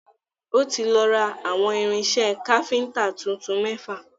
Ó ti lọ ra awọ̀n irinṣẹ́ káfíntà tuntun mẹ́fà.